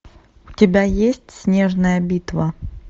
у тебя есть снежная битва